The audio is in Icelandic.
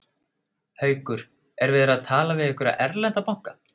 Haukur: Er verið að tala við einhverja erlenda banka?